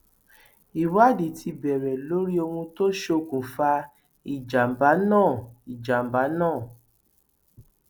ìwádìí ti bẹrẹ lórí ohun tó ṣokùnfà ìjàmbá náà ìjàmbá náà